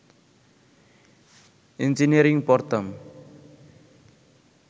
engineering পড়তাম